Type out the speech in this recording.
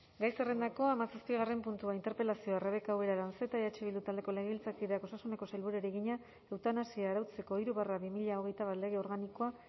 gai zerrendako hamazazpigarren puntua interpelazioa rebeka ubera aranzeta eh bildu taldeko legebiltzarkideak osasuneko sailburuari egina eutanasia arautzeko hiru barra bi mila hogeita bat lege organikoa